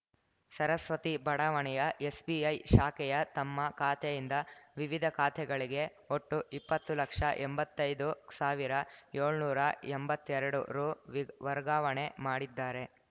ಸರಸ್ವತಿ ಬಡಾವಣೆಯ ಎಸ್‌ಬಿಐ ಶಾಖೆಯ ತಮ್ಮ ಖಾತೆಯಿಂದ ವಿವಿಧ ಖಾತೆಗಳಿಗೆ ಒಟ್ಟು ಇಪ್ಪತ್ತು ಲಕ್ಷಎಂಬತ್ತೈದು ಸಾವಿರಏಳ್ನೂರ ಎಂಬತ್ತೆರಡು ರುವಿ ವರ್ಗಾವಣೆ ಮಾಡಿದ್ದಾರೆ